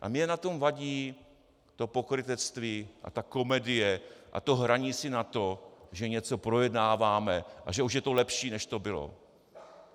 - A mně na tom vadí to pokrytectví a ta komedie a to hraní si na to, že něco projednáváme a že už je to lepší, než to bylo.